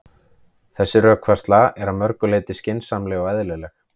Þessi rökfærsla er að mörgu leyti skynsamleg og eðlileg.